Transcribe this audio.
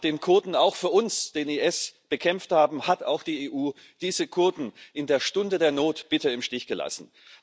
Nachdem Kurden auch für uns den IS bekämpft haben, hat auch die EU diese Kurden in der Stunde der Not bitter im Stich gelassen.